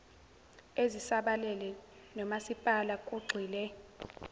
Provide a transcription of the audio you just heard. ezisabalele nomasipala kugxile